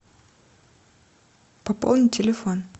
пополнить телефон